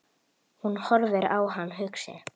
Hún horfir á hann hugsi.